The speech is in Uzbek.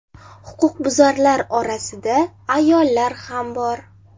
Huquqbuzarlar orasida ayollar ham bor.